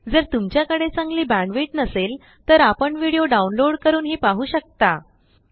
जर तुमच्याकडे चांगली बेंडविड्थ नसेल तर आपण विडिओ डाउनलोड करूनही पाहु शकता